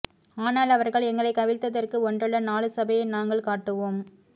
ஆனால் அவர்கள் எங்களை கவிழ்த்ததற்கு ஒன்றல்ல நாலு சபையை நாங்கள் காட்டுவோம்